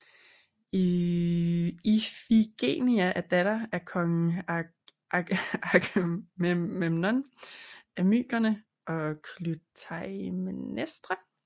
Ifigenia er datter af kong Agamemnon af Mykene og Klytaimnestra